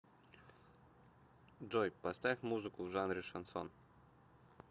джой поставь музыку в жанре шансон